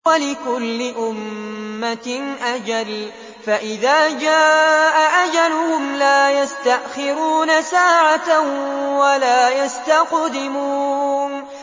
وَلِكُلِّ أُمَّةٍ أَجَلٌ ۖ فَإِذَا جَاءَ أَجَلُهُمْ لَا يَسْتَأْخِرُونَ سَاعَةً ۖ وَلَا يَسْتَقْدِمُونَ